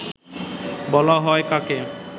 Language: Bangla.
বলা হয় কাকে